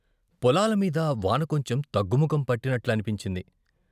పొలాలమీద వాన కొంచెం తగ్గుముఖం పట్టి పట్టినట్లని నిపించింది.